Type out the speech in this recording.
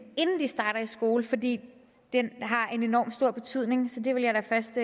inden de starter i skole fordi den har en enormt stor betydning så det vil jeg da først